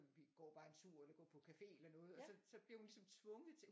Vi går bare en tur eller går på café eller noget og så så bliver hun ligesom tvunget til